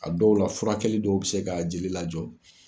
A dɔw la furakɛli dɔw bɛ se ka jeli lajɔ.